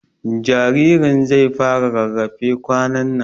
Jaririn zai fara rarrafe kwanan nan